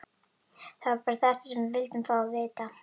Það var bara þetta sem við vildum fá að vita.